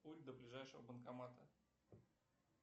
путь до ближайшего банкомата